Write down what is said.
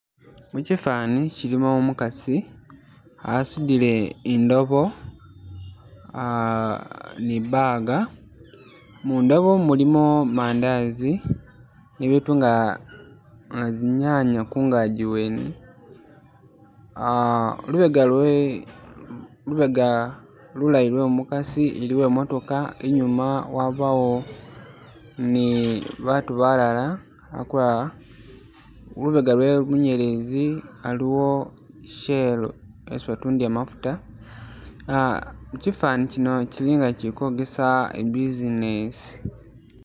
Mukifani kilimo umukasi asudile indobo ahh ni bag mundobo mulimu mandazi nibitu nga zinyanya kungaji wene ah lubega lwe lubega lulayi lwomukasi iliwo imotoka inyuma wabawo ni batu balala akulala lubega lwomunyelezi aluwo i shell yesi batundila mafuta kifani kino kyilinga kikwogesa i business